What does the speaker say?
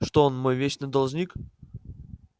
что он мой вечный должник